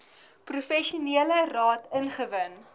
professionele raad ingewin